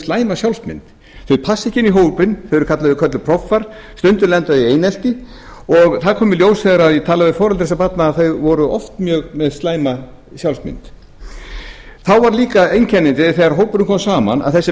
slæma sjálfsmynd þau passa ekki inn í hópinn þau eru kölluð proffar stundum lenda þau í einelti og það kom í ljós þegar ég talaði við foreldra þess barna að þau voru oft mjög með slæma sjálfsmynd þá var líka einkennandi þegar hópurinn kom saman að þessi